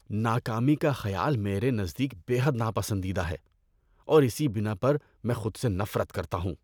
ناکامی کا خیال میرے نزدیک بے حد ناپسندیدہ ہے اور اسی بنا پر میں خود سے نفرت کرتا ہوں۔